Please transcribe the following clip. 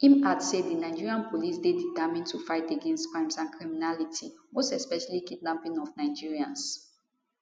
im add say di nigeria police dey determined to fight against crimes and criminality most especially kidnapping of nigerians